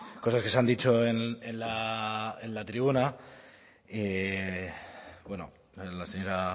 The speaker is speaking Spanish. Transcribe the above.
cosas que se han dicho en la tribuna y bueno la señora